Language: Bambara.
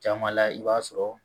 Caman la i b'a sɔrɔ